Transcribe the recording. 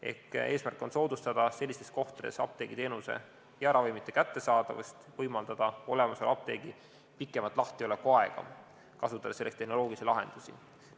Ehk eesmärk on soodustada sellistes kohtades apteegiteenuse ja ravimite kättesaadavust ning võimaldada olemasoleva apteegi pikemat lahtiolekuaega, kasutades selleks tehnoloogilisi lahendusi.